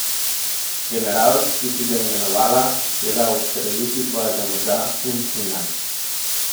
General, ki si ga imenovala, je dal ustreliti tvojega moža in sina!